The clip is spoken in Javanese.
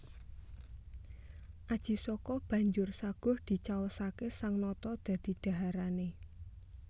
Aji Saka banjur saguh dicaosaké sang nata dadi dhaharané